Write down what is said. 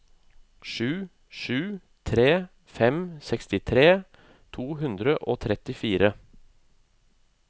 sju sju tre fem sekstitre to hundre og trettifire